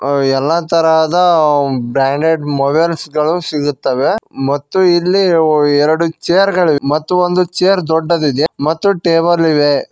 ಎಲ್ಲಾ ತರಹದ branded mobiles ಗಳು ಸಿಗುತ್ತವೆ ಮತ್ತು ಇಲ್ಲಿ ಎರಡು ಚೇರ್ ಗಳು ಮತ್ತು ಒಂದ್ ಚೇರ್ ದೊಡ್ಡದಿದೆ ಮತ್ತು ಟೇಬಲ್ ಇವೆ.